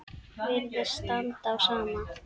Virðist standa á sama.